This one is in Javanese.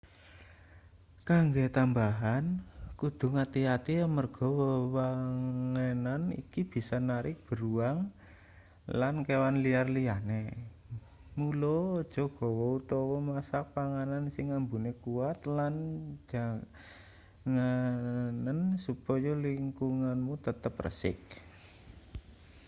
kanggo tamabahan kudu ngati-ati amarga wewangenan iki bisa narik beruang lan kewan liar liyane mula aja gawa utawa masak panganan sing ambune kuwat lan jaganen supaya lingkunganmu tetep resik